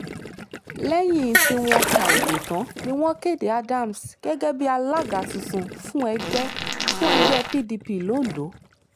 lẹ́yìn tí wọ́n ka ìbò tán ni wọ́n kéde adams gẹ́gẹ́ bíi alága tuntun fún ẹgbẹ́ fún ẹgbẹ́ pdp londo